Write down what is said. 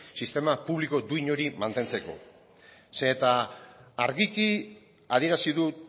sistema publiko duin hori mantentzako zeren eta argiki adierazi du